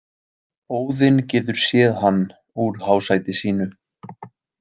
Óðinn getur séð hann úr hásæti sínu.